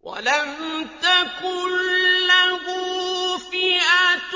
وَلَمْ تَكُن لَّهُ فِئَةٌ